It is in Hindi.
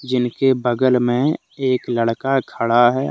इनके बगल में एक लड़का खड़ा है।